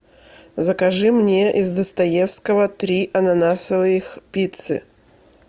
закажи мне из достоевского три ананасовых пиццы